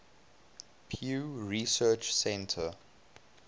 pew research center